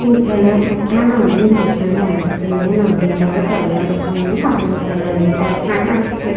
এখানে একটা নদী দেঁখা যাচ্ছে নদীটার কালার এখানে কালো কালার এর দেঁখা যাচ্ছে।